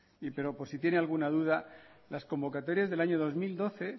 pero por si tiene alguna duda las convocatorias del año dos mil doce